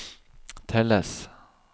telles